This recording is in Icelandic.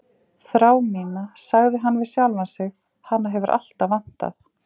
Þrá mína, sagði hann við sjálfan sig, hana hefur alltaf vantað.